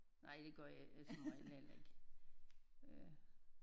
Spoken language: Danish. Nej det gør jeg som regel heller ikke øh